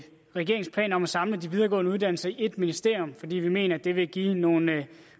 regeringens planer om at samle de videregående uddannelser i et ministerium fordi vi mener at det vil give nogle